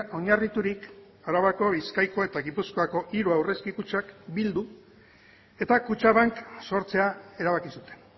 oinarriturik arabako bizkaiko eta gipuzkoako hiru aurrezki kutxak bildu eta kutxabank sortzea erabaki zuten